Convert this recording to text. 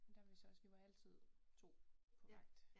Men der var vi så også vi var altid 2 på vagt